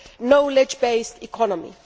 knowledge based economy.